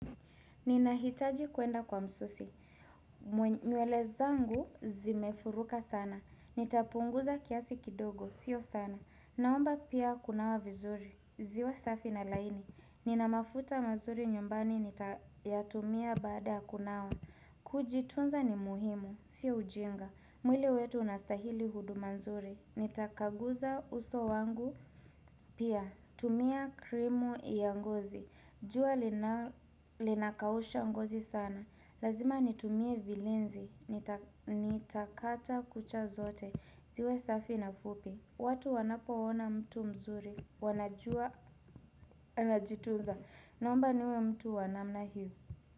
Ninahitaji kuenda kwa msusi. Nywele zangu zimefuruka sana. Nitapunguza kiasi kidogo. Sio sana. Naomba pia kunawa vizuri. Ziwe safi na laini. Ninamafuta mazuri nyumbani nitayatumia baada ya kunawa. Kujitunza ni muhimu. Sio ujinga. Mwili wetu unastahili huduma nzuri. Nitakaguza uso wangu. Pia tumia krimu ya ngozi. Jua linakausha ngozi sana. Lazima nitumie vilinzi. Nitakata kucha zote. Ziwe safi na fupi. Watu wanapo ona mtu mzuri. Wanajua anajitunza. Naomba niwe mtu wa namna hii.